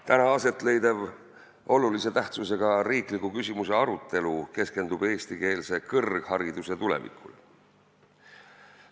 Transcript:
Täna aset leidev olulise tähtsusega riikliku küsimuse arutelu keskendub eestikeelse kõrghariduse tulevikule.